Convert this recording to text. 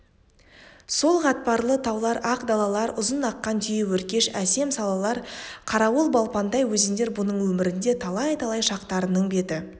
сол қатпарлы таулар ақ далалар ұзын аққан түйеөркеш әсем салалар қарауыл балпандай өзендер бұның өмірінде талай-талай шақтарының беті